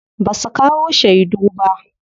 Basu kawo shedu ba.